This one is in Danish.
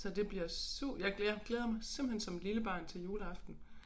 Så det bliver jeg jeg glæder mig simpelthen som et lille barn til juleaften